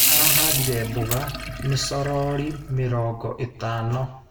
Arahandire mboga micorori mĩrongo itano.